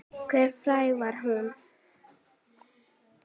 Hve fræg var hún?